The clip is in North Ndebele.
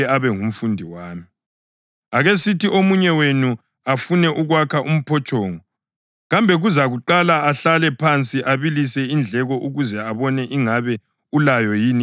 Akesithi omunye wenu afune ukwakha umphotshongo. Kambe kazukuqala ahlale phansi abalise indleko ukuze abone ingabe ulayo yini imali yokuwuqeda na?